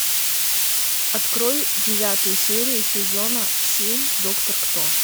открой девятую серию сезона семь доктор кто